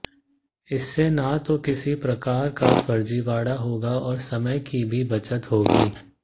इससे न तो किसी प्रकार का फर्जीवाड़ा होगा और समय की भी बचत होगी